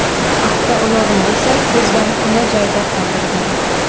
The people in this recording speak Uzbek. Avtoulovni esa ko‘zdan pana joyda qoldirgan.